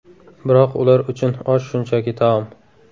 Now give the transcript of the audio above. Biroq ular uchun osh shunchaki taom.